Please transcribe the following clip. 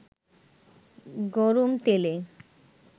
গরম তেলে